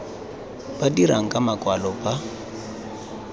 ba dirang ka makwalo ba